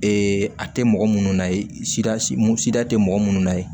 Ee a tɛ mɔgɔ minnu na ye sida sida tɛ mɔgɔ minnu na ye